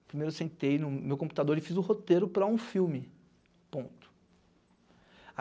Primeiro eu sentei no no meu computador e fiz o roteiro para um filme ponto.